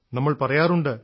നമ്മൾ പറയാറുണ്ട്